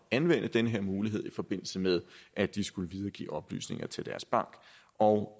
at anvende den her mulighed i forbindelse med at de skulle videregive oplysninger til deres bank og